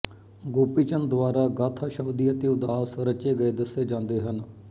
ਗੋਪੀ ਚੰਦ ਦੁਆਰਾ ਗਾਥਾ ਸ਼ਬਦੀ ਅਤੇ ਉਦਾਸ ਰਚੇ ਗਏ ਦੱਸੇ ਜਾਂਦੇ ਹਨ